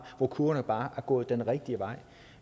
hvor kurverne bare er gået den rigtige vej